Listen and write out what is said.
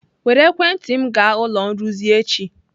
Were ekwentị m gaa ụlọ nrụzi echi!